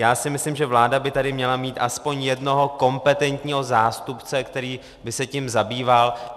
Já si myslím, že vláda by tady měla mít aspoň jednoho kompetentního zástupce, který by se tím zabýval.